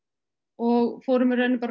og fórum í raun